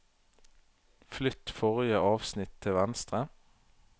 Flytt forrige avsnitt til venstre